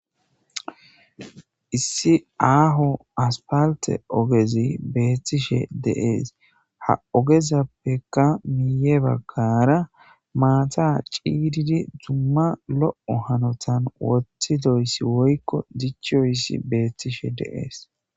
issi aaho aspalte ogezi beettishe deees ha ogezappeka miiye bagkara maata ciididi dumma lo7o hanotan woththidoyssi woykko dichoyssi beettishe de'es